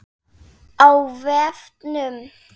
Á vefnum